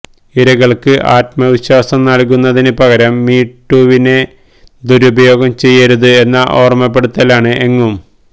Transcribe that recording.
ഇരകള്ക്ക് ആത്മവിശ്വാസം നല്കുന്നതിന് പകരം മീ ടൂവിനെ ദുരുപയോഗം ചെയ്യരുത് എന്ന ഓര്മപ്പെടുത്തലാണ് എങ്ങും